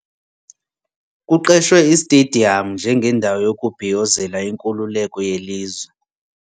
Kuqeshwe istediyamu njengendawo yokubhiyozela inkululeko yelizwe.